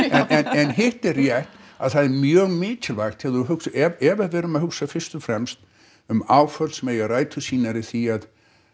en hitt er rétt að það er mjög mikilvægt þegar þú hugsar ef við erum að hugsa fyrst og fremst um áföll sem eiga rætur sínar í því að